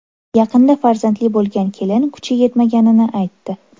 Yaqinda farzandli bo‘lgan kelin kuchi yetmaganini aytdi.